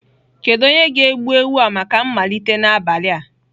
Kedu onye ga-egbu ewu a maka mmalite n'abalị a?